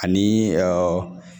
Ani